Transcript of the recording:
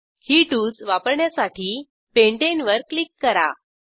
ही tools वापरण्यासाठी Pentaneवर click करा